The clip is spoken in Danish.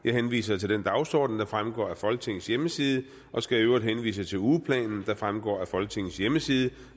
jeg henviser til den dagsorden der fremgår af folketingets hjemmeside og skal i øvrigt henvise til ugeplanen der fremgår af folketingets hjemmeside